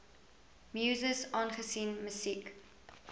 muses aangesien musiek